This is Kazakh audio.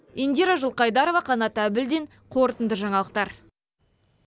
индира жылқайдарова қанат әбілдин қорытынды жаңалықтар